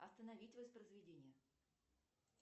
остановить воспроизведение